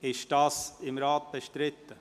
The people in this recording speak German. Ist dies im Rat bestritten?